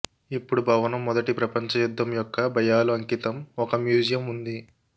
ఇప్పుడు భవనం మొదటి ప్రపంచ యుద్ధం యొక్క భయాలు అంకితం ఒక మ్యూజియం ఉంది